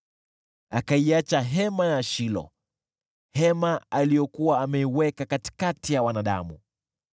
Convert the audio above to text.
Akaiacha hema ya Shilo, hema aliyokuwa ameiweka katikati ya wanadamu.